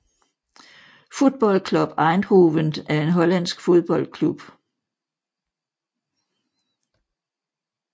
Football Club Eindhoven er en hollandsk fodboldklub